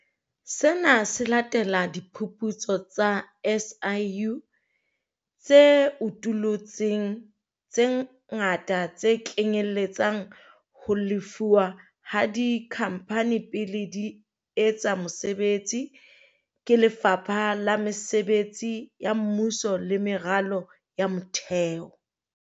Sena se latela diphuputso tsa SIU tse utullutseng tse ngata tse kenyelletsang ho lefuwa ha dikhamphane pele di etsa mosebetsi ke Lefapha la Mesebetsi ya Mmuso le Meralo ya Motheo.